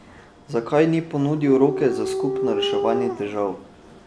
Zakaj ni ponudil roke za skupno reševanje težav?